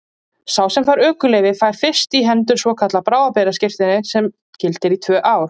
Sá sem fær ökuleyfi fær fyrst í hendur svokallað bráðabirgðaskírteini sem gildir í tvö ár.